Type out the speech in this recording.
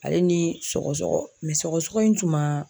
Ale ni sɔgɔsɔgɔ sɔgɔsɔgɔ in